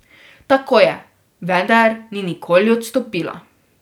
Tako je, vendar ni nikoli odstopila.